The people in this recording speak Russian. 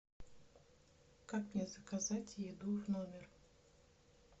как мне заказать еду в номер